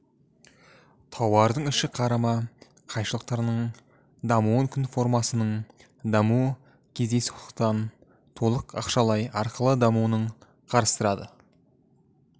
тауардың ішкі қарама қайшылықтарының дамуын құн формасының дамуы кездейсоқтықтан толық ақшалай арқылы дамуын қарастырады